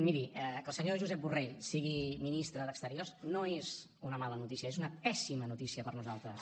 miri que el senyor josep borrell sigui ministre d’exteriors no és una mala notícia és una pèssima notícia per nosaltres